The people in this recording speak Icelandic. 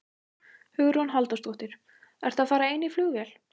Hugrún Halldórsdóttir: Ertu að fara ein í flugvél?